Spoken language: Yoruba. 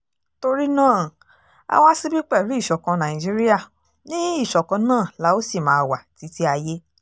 torí náà a wá síbí pẹ̀lú ìṣọ̀kan nàìjíríà ní ìṣọ̀kan náà la ó sì máa wá títí ayé